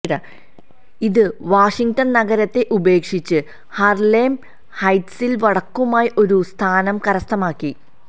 ഇത് വാഷിങ്ടൺ നഗരത്തെ ഉപേക്ഷിച്ച് ഹാർലെം ഹൈറ്റ്സിൽ വടക്കുമായി ഒരു സ്ഥാനം കരസ്ഥമാക്കി